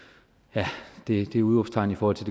har det det udråbstegn i forhold til